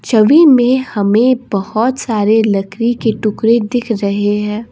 ट्वि में हमें बहुत सारे लकरी के टुकड़े दिख रहे है।